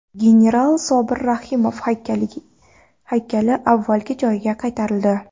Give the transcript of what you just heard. General Sobir Rahimov haykali avvalgi joyiga qaytarildi.